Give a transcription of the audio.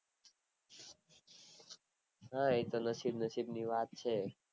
હા એ તો નસીબ નસીબ ની વાત છે